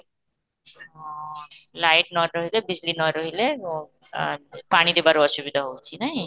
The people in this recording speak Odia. ହଁ, light ନ ରହିଲେ ନ ରହିଲେ ଅ ଆଃ ପାଣି ଦେବାରେ ଅସୁବିଧା ହେଉଛି ନାଇ?